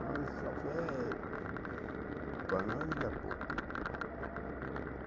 Mas o café para nós é pouco.